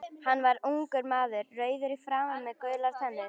Hann var ungur maður, rauður í framan með gular tennur.